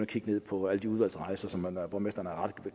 kigge på alle de udvalgsrejser som borgmesteren er ret